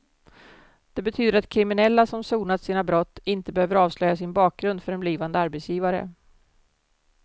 Det betyder att kriminella som sonat sina brott inte behöver avslöja sin bakgrund för en blivande arbetsgivare.